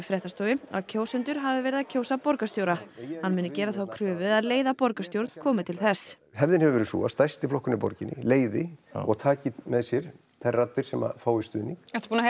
fréttastofu að kjósendur hafi verið að kjósa borgarstjóra hann muni gera þá kröfu að leiða borgarstjórn komi til þess hefðin hefur verið sú að stærsti flokkurinn í borginni leiði og taki með sér þær raddir sem fái stuðning